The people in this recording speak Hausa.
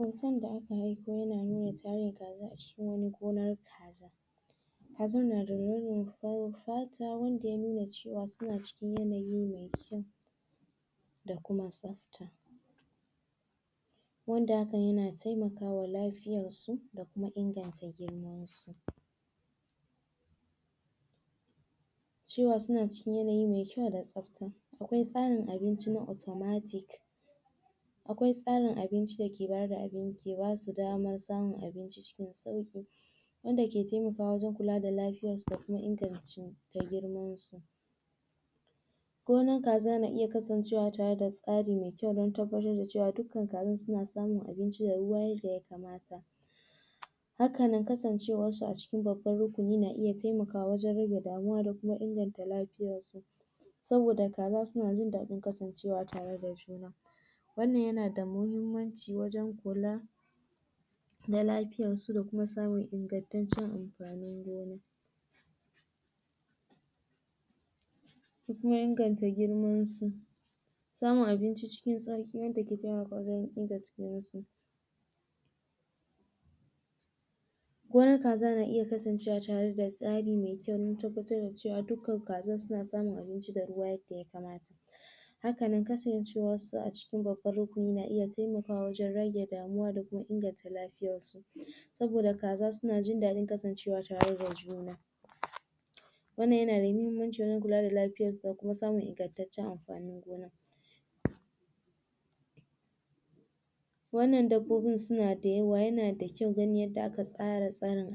Hoton da aka aiko yana nuna tarin kaza a cikin wani gonan kaza kazar nada launin farar fata wanda ya nuna cewa suna suna cikin yanayi mai kyau da kuma tsafta wanda hakan yana taimaka wa lafiyansu da kuma inganta girman su cewa suna cikin yanayi mai kyau da tsafta akwai tsarin abinci na automatic akai tsarin abinci dake bada... dake basu damar samu abinci cikin sauki wanda ke taimakwa wajen kula da lafiyar su da kuma inganci... da girma gonan kaza na iya kasancewa tare da tsari mai kyau dan tabbatar da cewa dukkan kazan suna samun abinci da ruwa yadda ya kamata hakanan kasancewar su cikin babban rukuni na iya taimakwa wajen rage damuwa da kuma inganta lafiyar su saboda kaza suna jin daɗin kasancewa tare da juna wannan yana da muhimmanci wajen kula da lafiyansu da kuma samun ingantaccen amfanin gona da kuma inganta girmansu samun abinci cikin sauki wanda ke taimaka wajen gina jikinsu gonan kaza na iya kasancewa tare da tsari mai kyau dan tabbatar da cewa dukkan kazan suna samun abinci da ruwa hakanan kasancewar su cikin babban rukuni na iya taimakawa wajen rage damuwa da inganta kuma lafiyansu saboda kaza suna jin dadin kasancewa tare a juna wannan yanada muhimmanci wajen kula da lafiyan su da kuma samun ingantaccen amfanin gona wannan dabbobin suna da yawa, yana da kyau ganin yadda aka tsara